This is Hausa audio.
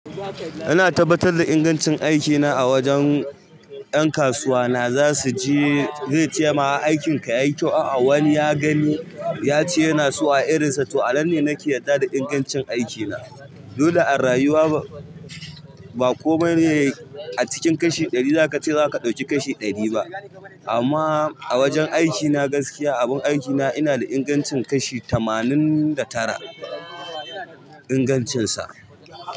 Ina tabbatar da ingancin aikina a wajen 'yan kasuwa na zasu je zai ce ma aikin ka yayi kyau a'a wani ya gani ya ce yana so a irin sa. To ana ne nake yarda da ingancin aikina. Dole a rayuwa ba komai ne a cikin kashi ɗari zaka ce zaka ɗauki kashi ɗari ba. Amma a wajen aiki na gaskiya, abun aiki na ina da ingancin kashi tamanin da tara ingancinsa.